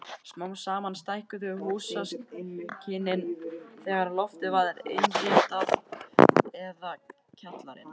Smám saman stækkuðu húsakynnin þegar loftið var innréttað eða kjallarinn.